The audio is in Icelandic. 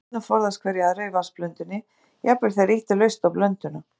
Agnirnar forðast hverja aðra í vatnsblöndunni, jafnvel þegar ýtt er laust á blönduna.